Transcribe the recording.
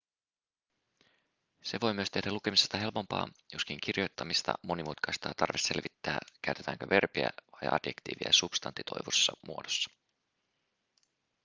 se voi myös tehdä lukemisesta helpompaa joskin kirjoittamista monimutkaistaa tarve selvittää käytetäänkö verbiä tai adjektiivia substantivoidussa muodossa